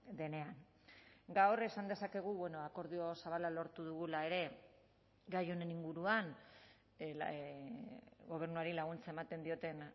denean gaur esan dezakegu akordio zabala lortu dugula ere gai honen inguruan gobernuari laguntza ematen dioten